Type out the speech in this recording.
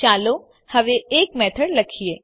ચાલો હવે એક મેથડ લખીએ